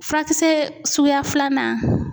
Furakisɛ suguya filanan